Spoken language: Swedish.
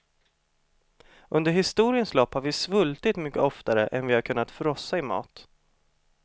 Under historiens lopp har vi svultit mycket oftare än vi har kunnat frossa i mat.